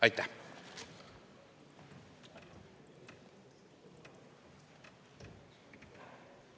Aitäh!